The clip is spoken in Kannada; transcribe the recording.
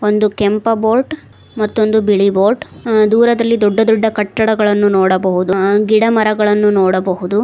ಒಂದು ಕೆಂಪ ಬೋಟ್ ಮತ್ತೊಂದು ಬಿಳಿ ಬೋಟ್ ಅ ದೂರದಲ್ಲಿ ದೊಡ್ಡ ದೊಡ್ಡ ಕಟ್ಟಡಗಳನ್ನು ನೋಡಬಹುದು ಗಿಡಮರಗಳನ್ನು ನೋಡಬಹುದು.